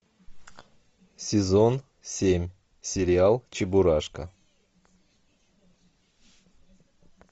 сезон семь сериал чебурашка